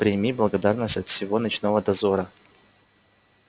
прими благодарность от всего ночного дозора